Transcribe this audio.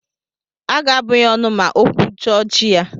Aga abụ ya ọnụ ma o kwujọọ chi ha.